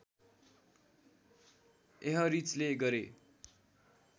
एहरिचले गरे